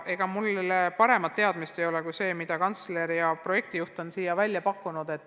Ega mul täpsemat informatsiooni ei ole kui see, mis kantsler ja projektijuht on välja pakkunud.